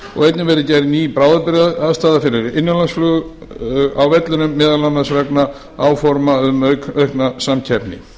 og einnig verði gerð ný bráðabirgðaaðstaða fyrir innanlandsflug á vellinum meðal annars veg áforma um aukna samkeppni